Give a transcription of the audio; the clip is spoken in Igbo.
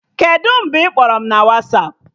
Kedụ mgbe ị kpọrọ m na Wasapụ?